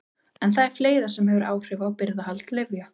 En það er fleira sem hefur áhrif á birgðahald lyfja.